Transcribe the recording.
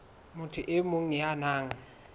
motho e mong ya nang